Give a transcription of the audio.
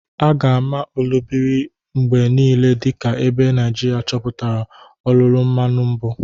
A ga-ama Olobiri mgbe niile dị ka ebe Naijiria chọpụtara olulu mmanu mbụ.